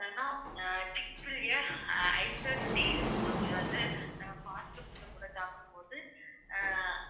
அப்புறம் என்னனா icert tea இருக்கு ma'am இது வந்து நம்ம fast food கூட சாப்பிடும்போது ஆஹ்